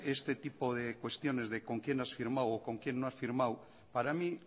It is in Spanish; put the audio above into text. este tipo de cuestiones de con quién has firmado o con quién no has firmado para mí